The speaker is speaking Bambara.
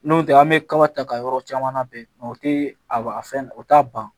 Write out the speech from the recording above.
N'o tɛ an bɛ kaba ta ka yɔrɔ caman labɛn o tɛ a fɛn o t'a ban